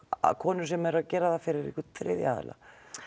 konur sem eru að gera það fyrir þriðja aðila